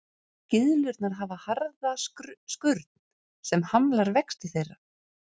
Gyðlurnar hafa harða skurn sem hamlar vexti þeirra.